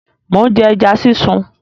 Mò ń jẹ ẹja sísun.